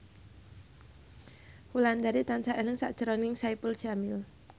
Wulandari tansah eling sakjroning Saipul Jamil